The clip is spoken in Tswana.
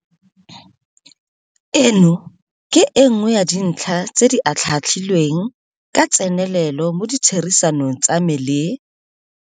Eno ke e nngwe ya dintlha tse di atlhaatlhilweng ka tsenelelo mo ditherisanong tsa me le.